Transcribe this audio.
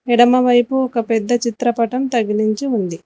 ఎడమ వైపు ఒక పెద్ద చిత్ర పటం తగిలించి ఉంది.